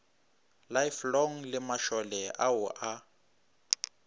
lifelong le mašole ao a